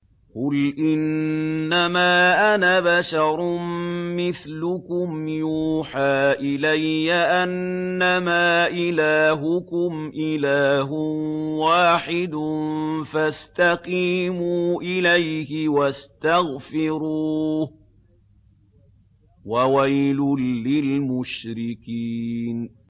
قُلْ إِنَّمَا أَنَا بَشَرٌ مِّثْلُكُمْ يُوحَىٰ إِلَيَّ أَنَّمَا إِلَٰهُكُمْ إِلَٰهٌ وَاحِدٌ فَاسْتَقِيمُوا إِلَيْهِ وَاسْتَغْفِرُوهُ ۗ وَوَيْلٌ لِّلْمُشْرِكِينَ